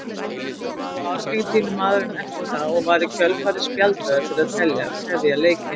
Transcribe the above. Lá Argentínumaðurinn eftir það og var í kjölfarið spjaldaður fyrir að tefja leikinn.